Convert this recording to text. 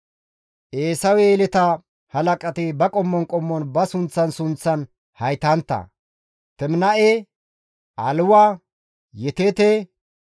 Eesawe yeleta halaqati ba qommon qommon ba sunththan sunththan haytantta; Teminaa7e, Aliwa, Yeteete,